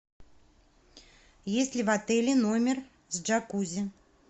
есть ли в отеле номер с джакузи